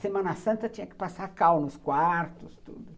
Semana Santa tinha que passar cal nos quartos, tudo.